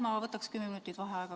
Ma võtaks kümme minutit vaheaega.